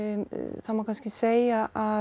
það má kannski segja að